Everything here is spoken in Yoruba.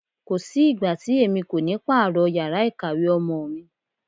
Kò sí ìgbà tí èmi kò ní pààrọ̀ yàrá ìkàwé ọmọ mi.